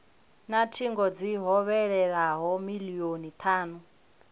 na thingo dzi hovhelelaho milioni thanu